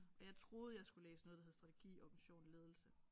Og jeg troede jeg skulle læse noget der hed strategi organisation og ledelse